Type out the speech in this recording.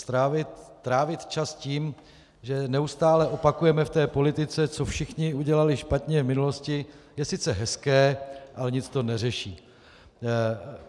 Trávit čas tím, že neustále opakujeme v té politice, co všichni udělali špatně v minulosti, je sice hezké, ale nic to neřeší.